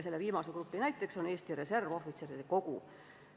Selle viimase grupi näiteks on Eesti Reservohvitseride Kogu.